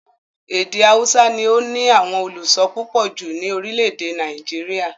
Èdè haúsá ni ó ní àwọn olùso púpọ̀ jù ní orílẹ̀-èdè Nàìjíríà.